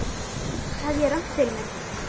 Þar hafði ég rangt fyrir mér.